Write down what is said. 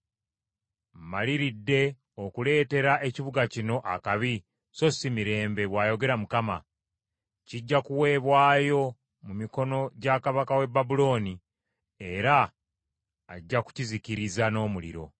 Mmaliridde okuleetera ekibuga kino akabi so si mirembe, bw’ayogera Mukama . Kijja kuweebwayo mu mikono gya kabaka w’e Babulooni, era ajja kukizikiriza n’omuliro.’